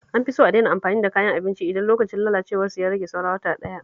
An fi so a daina amfani da kayan abinci idan lokacin lalacewarsu ya rage saura wata ɗaya